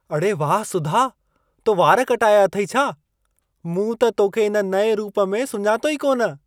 अड़े वाह सुधा, तो वार कटाया अथई छा! मूं त तोखे इन नएं रूप में सुञातो ई कोन!